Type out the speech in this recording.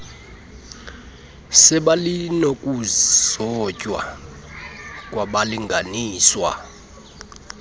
sebali nokuzotywa kwabalinganiswa